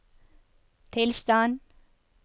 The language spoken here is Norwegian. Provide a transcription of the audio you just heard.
tilstand